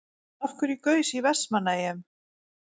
Af hverju gaus í Vestmannaeyjum?